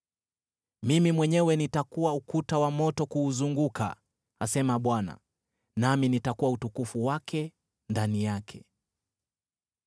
Mimi mwenyewe nitakuwa ukuta wa moto kuuzunguka,’ asema Bwana , ‘nami nitakuwa utukufu wake ndani yake.’